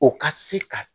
O ka se ka